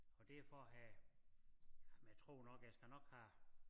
Og det er for at have ja men jeg tror nok jeg skal nok have